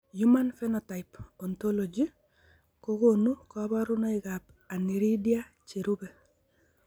Human Phenotype Ontology kokonu kabarunoikab Aniridia cherube.